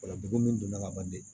Ola degun min donna ka ban dɛ